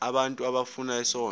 abantu abafuna isondlo